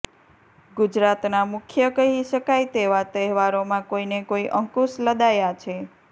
ગુજરાતના મુખ્ય કહી શકાય તેવા તહેવારોમાં કોઈને કોઈ અંકુશ લદાયા છે